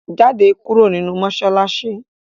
Jáde kúrò nínú mọ́ṣáláṣí!